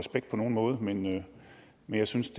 nogen måde af men jeg synes